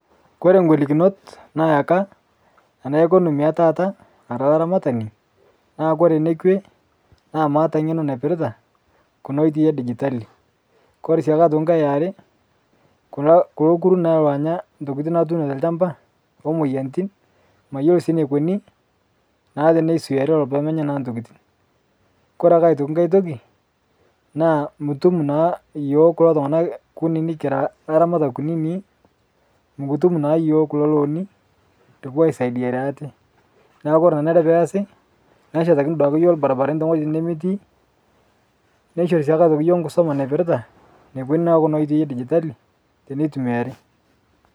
Kore golikinot nayeka ana ekonomi etata ara laramatani, naa kore nekwe' naa maata ng'eno naipirita kuna oitoi edijitali, kore sii nkae eare kuna kulo nkuru naa loonya ntokitin natuuno te lchamba omoyianitin mayolo sii neikoni naa tenesuiarii lolo pemenya naa ntokitin. Kore ake aitoki nkae toki naa mutum naa yuo kulo tung'ana kunini kira laramatak kunini mukutum naa yuo kulo looni likipoo aisaidiarie ate, naa kore nanare peasi neshetakini duake yuoo lbarbarani teng'ojitin nemetii, neishorii sii aitoki yuo nkusoma naipirita nekoni naa kuna oitoi edijitali tenetumiari.